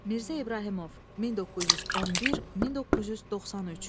Mirzə İbrahimov 1911-1993.